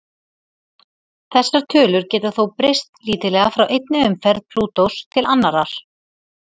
Þessar tölur geta þó breyst lítillega frá einni umferð Plútós til annarrar.